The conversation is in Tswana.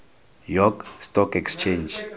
york stock exchange